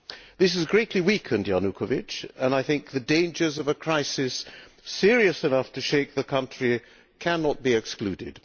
This has greatly weakened Mr Yanukovych and I think the dangers of a crisis serious enough to shake the country cannot be excluded.